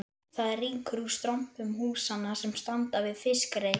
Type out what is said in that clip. Það rýkur úr strompum húsanna sem standa við fiskreit